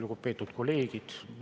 Lugupeetud kolleegid!